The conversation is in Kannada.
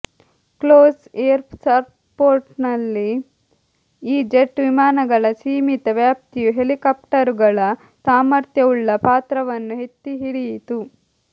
ಕ್ಲೋಸ್ ಏರ್ ಸಪೋರ್ಟ್ನಲ್ಲಿ ಈ ಜೆಟ್ ವಿಮಾನಗಳ ಸೀಮಿತ ವ್ಯಾಪ್ತಿಯು ಹೆಲಿಕಾಫ್ಟರುಗಳ ಸಾಮರ್ಥ್ಯವುಳ್ಳ ಪಾತ್ರವನ್ನು ಎತ್ತಿಹಿಡಿಯಿತು